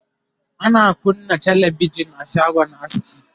ana kunna talabijan a shagon aski